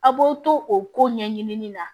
A b'aw to o ko ɲɛɲini na